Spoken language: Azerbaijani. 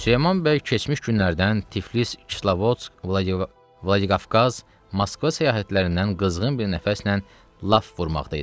Süleyman bəy keçmiş günlərdən Tiflis, Kislovodsk, Vladikavkaz, Moskva səyahətlərindən qızğın bir nəfəslə laf vurmaqda idi.